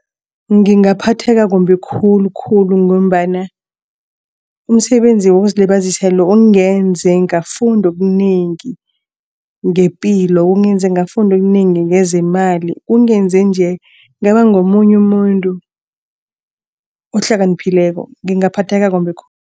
Ngingaphatheka kumbi khulukhulu ngombana umsebenzi wokuzilibazisa lo ungenze ngafunda okunengi ngepilo. Ungenze ngafunda okunengi ngezeemali ungenze nje ngaba ngomunye umuntu ohlakaniphileko ngingaphatheka kumbi